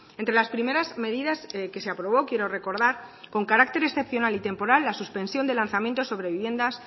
entre las primeras medidas que se aprobó quiero recordar con carácter excepcional y temporal la suspensión de lanzamiento sobre viviendas